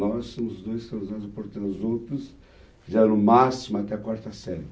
Nós somos os dois, porque os outros fizeram o máximo até a quarta série.